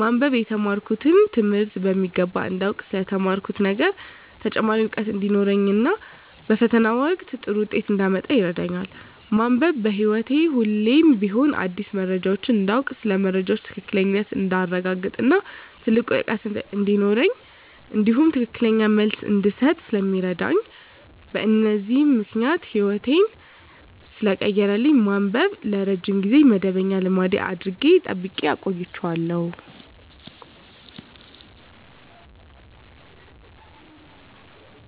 ማንበብ የተማርኩትን ትምህርት በሚገባ እንዳውቅ ስለ ተማርኩት ነገር ተጨማሪ እውቀት እንዲኖረኝ እና በፈተና ወቅት ጥሩ ውጤት እንዳመጣ ይረዳኛል። ማንበብ በህይወቴ ሁሌም ቢሆን አዳዲስ መረጃዎችን እንዳውቅ ስለ መረጃዎች ትክክለኛነት እንዳረጋግጥ እና ጥልቅ እውቀት እንዲኖረኝ እንዲሁም ትክክለኛ መልስ እንድሰጥ ስለሚረዳኝ በዚህም ምክንያት ህይወቴን ሰለቀየረልኝ ማንበብን ለረጅም ጊዜ መደበኛ ልማድ አድርጌ ጠብቄ አቆይቸዋለሁ።